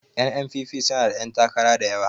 N.N.P.P suna da 'yantakara da yawa